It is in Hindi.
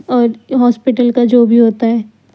और हॉस्पिटल का जो भी होता है।